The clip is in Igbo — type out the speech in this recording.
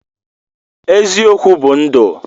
Eziokwu bụ ndụ.